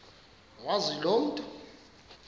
wazi loo nto